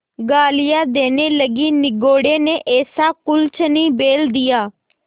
गालियाँ देने लगीनिगोडे़ ने ऐसा कुलच्छनी बैल दिया